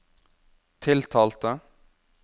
tiltalte